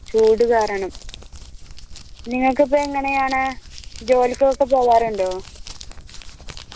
ചൂട് കാരണം നിങ്ങൾക്കൊക്കെ എങ്ങനെയാണ് ജോലിക്കൊക്കെ പോകാറുണ്ടോ